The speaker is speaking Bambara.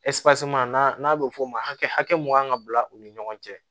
n'a bɛ f'o ma hakɛ hakɛ mun kan ka bila u ni ɲɔgɔn cɛ